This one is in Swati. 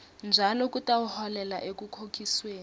njalo kutawuholela ekukhokhisweni